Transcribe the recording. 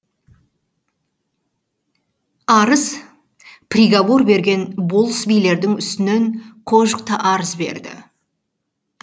арыз приговор берген болыс билердің үстінен қожық та арыз береді